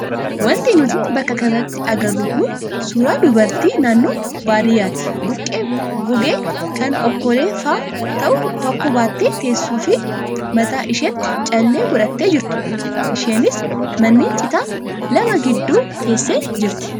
Wanti nuti bakka kanatti agarru kun suuraa dubartii naannoo baadiyyaatti buqqee gogee kan okolee fa'aa ta'u tokko baattee teessuu fi mataa isheetti callee godhattee jirtudha. Isheenis manneen citaa lama gidduu teessee jirti.